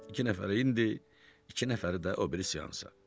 İki nəfər indi, iki nəfər də o biri seansa.